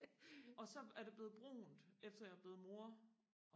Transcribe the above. og så er det blevet brunt efter jeg er blevet mor